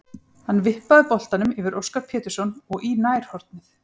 Hann vippaði boltanum yfir Óskar Pétursson og í nærhornið.